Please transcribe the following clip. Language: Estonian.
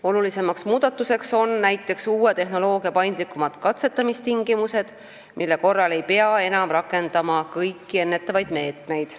Olulisemaks muudatuseks on näiteks uue tehnoloogia paindlikumad katsetamistingimused, mille korral ei pea enam rakendama kõiki ennetavaid meetmeid.